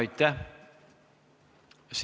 Aitäh!